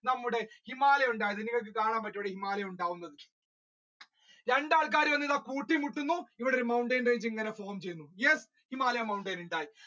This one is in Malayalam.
നമ്മുടെ ഹിമാലയ ഉണ്ടായത് നിങ്ങൾക്ക് കാണാൻ പറ്റുമോ ഹിമാലയ ഉണ്ടാകുന്നത് രണ്ടാം കാര്യമല്ലെടാ കൂട്ടി മുട്ടുന്നു ഇവിടെ ചെയ്തു yes himalaya mountain